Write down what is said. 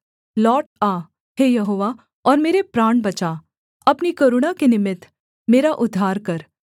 लौट आ हे यहोवा और मेरे प्राण बचा अपनी करुणा के निमित्त मेरा उद्धार कर